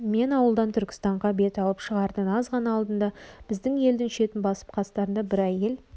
мен ауылдан түркістанға бет алып шығардың аз ғана алдында біздің елдің шетін басып қастарында бір әйел